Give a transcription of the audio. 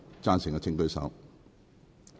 贊成的請舉手。